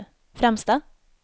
främsta